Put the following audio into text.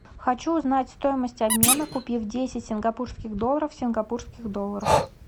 хочу узнать стоимость обмена купив десять сингапурских долларов в сингапурских долларах